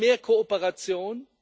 Wir wollen mehr Kooperation.